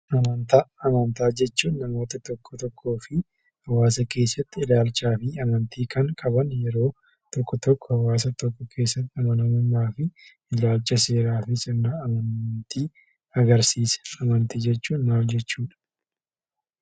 Amantaa jechuun namoota tokko tokkoo fi hawaasa keessatti ilaalchaa fi amanti kan qaban yeroo tokko tokkoo hawaasa keessatti amanamummaa fi ilaalcha seeraa kan qaban amantii agarsiisa.